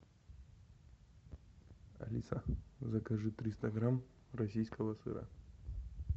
алиса закажи триста грамм российского сыра